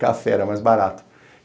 Café era mais barato.